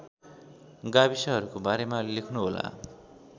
गाविसहरूको बारेमा लेख्नुहोला